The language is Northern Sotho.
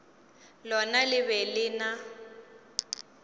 lona le be le na